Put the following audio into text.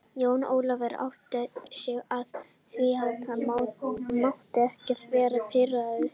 Jón Ólafur áttaði sig á því að hann mátti ekki vera pirraður.